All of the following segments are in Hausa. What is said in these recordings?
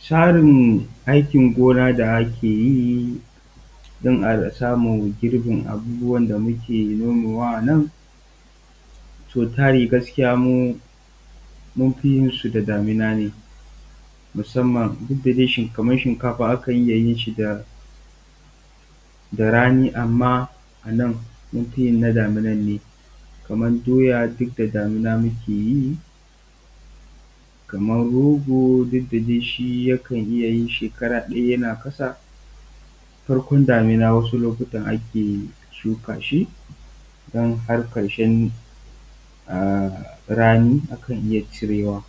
Tsarin aikin gona da ake yi don a samu girbin abubuwa da muke nomowa a nan, sau tari gaskiya mu mun fi yin su da damuna ne musamman duk da dai kamar shinkafa akan iya yin shi da rani amma a nan munfi yin na damunan ne. kamar doya duk da damuna muke yi, kamar rogo duk da dai shi yakan iya yin shekara ɗaya yana ƙasa, farkon damuna wasu lokutan ake shuka shi idan har ƙarshen rani akan iya cirewa.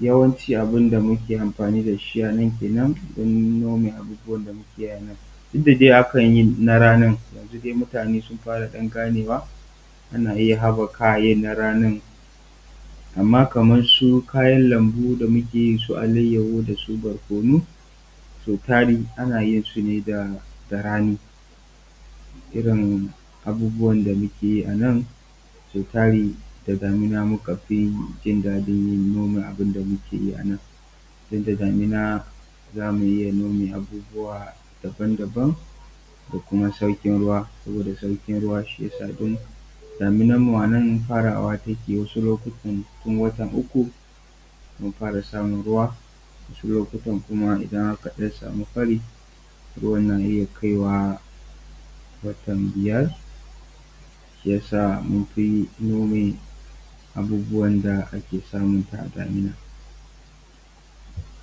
Yawanci abin da muke amfani da shi a nan kenan don nome abubuwa da muke a nan. Duk da dai akan yi na ranin, yanzu dai mutane su fara ɗan ganewa ana iya haɓɓaka a yin na ranin. Amma kamar su kayan lambu da muke yi su alayahu, da su barkonu sau tari ana yinsu ne da rani, irin abubuwa da muke a nan sau tari da damuna muka fi jin daɗin yin nome abun da muke a nan. Don da damuna za mu iya nome abubuwa daban daban da kuma sauƙin ruwa, saboda sauƙin ruwa shi yasa duk da damunan mu a nan farawa take wasu lokutan tun watan uku mun fara samun ruwa, wasu lokutan idan aka samu fari ruwan na iya kawai watan biyar. Shi yasa munfi nome abubuwan da ake samun su da damuna.